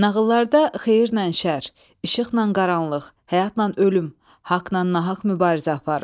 Nağıllarda xeyirnən şər, işıqnan qaranlıq, həyatnan ölüm, haqnan nahaq mübarizə aparır.